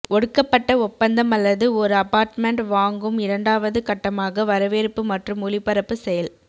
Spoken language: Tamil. ஒடுக்கப்பட்ட ஒப்பந்தம் அல்லது ஒரு அபார்ட்மெண்ட் வாங்கும் இரண்டாவது கட்டமாகப் வரவேற்பு மற்றும் ஒலிபரப்பு செயல்